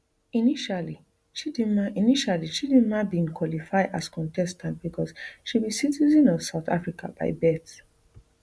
initially chidimma initially chidimma bin qualify as contestant becos she be citizen of south africa by birth